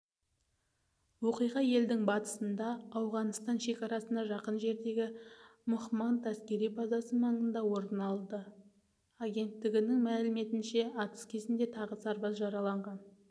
оқиға елдің батысында ауғанстан шекарасына жақын жердегі мохманд әскери базасы маңында орын алды агенттігінің мәліметінше атыс кезінде тағы сарбаз жараланған